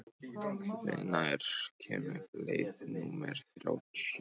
Sigurósk, hvenær kemur leið númer þrjátíu?